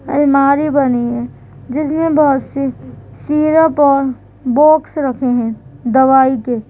अलमारी बनी है जिसमें बहोत से सिरप और बॉक्स रखे है दवाई के।